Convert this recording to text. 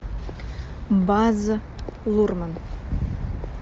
баз лурман